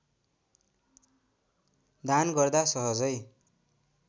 दान गर्दा सहजै